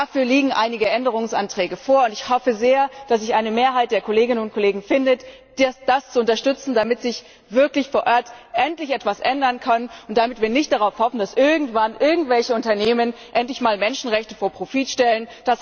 Dafür liegen einige Änderungsanträge vor, und ich hoffe sehr, dass sich eine Mehrheit der Kolleginnen und Kollegen findet, die das unterstützen, damit sich wirklich vor Ort endlich etwas ändern kann und damit wir nicht darauf hoffen, dass irgendwann irgendwelche Unternehmen endlich mal Menschenrechte vor Profit stellen.